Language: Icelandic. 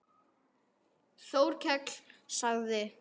Þórkell sagði